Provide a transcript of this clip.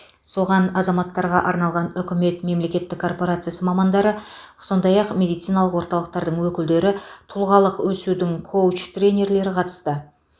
соған азаматтарға арналған үкімет мемлекеттік корпорациясы мамандары сондай ақ медициналық орталықтардың өкілдері тұлғалық өсудің коуч тренерлері қатысты